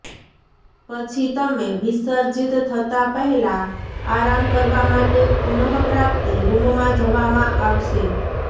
પછી તમે વિસર્જિત થતાં પહેલાં આરામ કરવા માટે પુનઃપ્રાપ્તિ રૂમમાં જવામાં આવશે